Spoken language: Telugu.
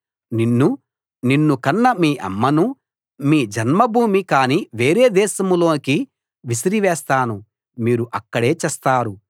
నిన్నూ నిన్ను కన్న మీ అమ్మనూ మీ జన్మభూమి కాని వేరే దేశంలోకి విసిరివేస్తాను మీరు అక్కడే చస్తారు